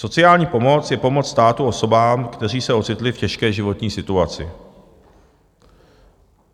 Sociální pomoc je pomoc státu osobám, které se ocitly v těžké životní situaci.